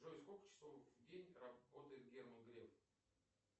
джой сколько часов в день работает герман греф